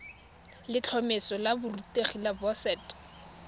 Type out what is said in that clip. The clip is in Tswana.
letlhomeso la borutegi la boset